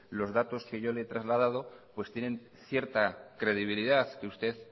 los datos que yo le he trasladado pues tienen cierta credibilidad que usted